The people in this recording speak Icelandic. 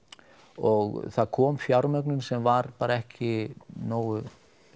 og það kom fjármögnun sem var bara ekki nógu